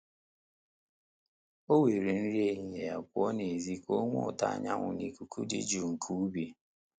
O were nri ehihie ya pụọ n'ezi ka o nwee ụtọ anyanwu na ikuku dị jụụ nke ubi.